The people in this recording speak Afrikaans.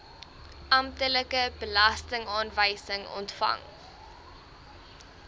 amptelike belastingaanwysing ontvang